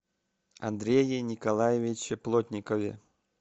андрее николаевиче плотникове